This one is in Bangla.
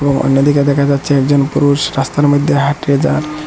ও অন্যদিকে দেখা যাচ্ছে একজন পুরুষ রাস্তার মইধ্যে হাঁইট্টা যার ।